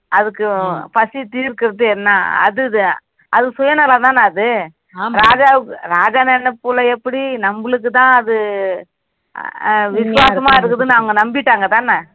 அதுக்கு பசி தீர்க்கிறது என்ன அது தான் அது சுயநலம் தானே அது ராஜா நினைப்பில எப்படி நமக்கு தான் அது விசுவாசமா இருக்குதுன்னு அவங்க நம்பிட்டாங்க தானே